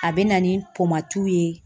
A bɛ na ni ye.